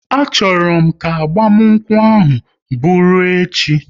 A chọrọ m ka agbamakwụkwọ ahụ bụru echi!